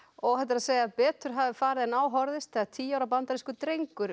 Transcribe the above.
óhætt er að segja að betur hafi farið en á horfðist þegar tíu ára bandarískur drengur